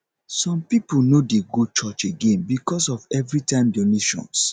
some people no dey go church again because of everytime donations